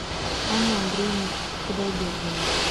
анна андреевна худайбердина